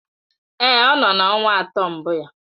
Èé, ọ nọ na ọnwa atọ mbụ ya.